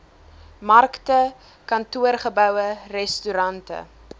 markte kantoorgeboue restaurante